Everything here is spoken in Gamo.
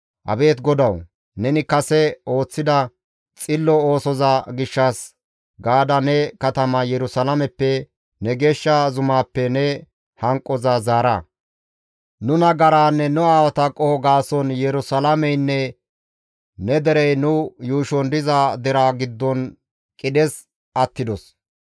Abeet GODAWU! Neni kase ooththida xillo oosoza gishshas gaada ne katama Yerusalaameppe, ne geeshsha zumaappe ne hanqoza zaara; nu nagaraanne nu aawata qoho gaason Yerusalaameynne ne derey nu yuushon diza deraa giddon qidhes attidos.